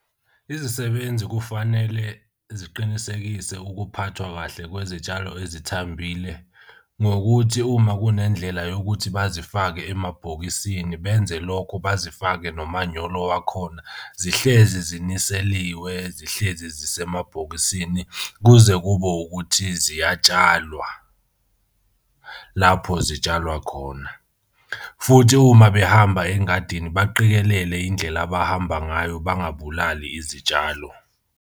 Izisebenzi kufanele ziqinisekise ukuphathwa kahle kwezitshalo ezithambile ngokuthi uma kunendlela yokuthi bazifake emabhokisini benze lokho bazifake nomanyolo wakhona. Zihlezi ziniseliwe zihlezi zisemabhokisini kuze kube ukuthi ziyatshalwa lapho zitshalwa khona. Futhi uma behamba engadini, baqikelele indlela abahamba ngayo, bangabulali izitshalo.